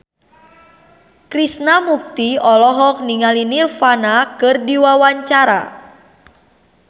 Krishna Mukti olohok ningali Nirvana keur diwawancara